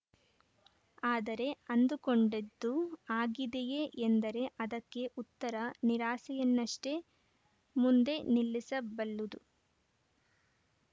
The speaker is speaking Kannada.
ಆದರೆ ಅಂದುಕೊಂಡಿದ್ದು ಆಗಿದೆಯೇ ಎಂದರೆ ಅದಕ್ಕೆ ಉತ್ತರ ನಿರಾಸೆಯನ್ನಷ್ಟೇ ಮುಂದೆ ನಿಲ್ಲಿಸಬಲ್ಲುದು